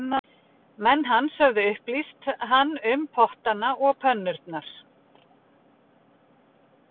Menn hans höfðu upplýst hann um pottana og pönnurnar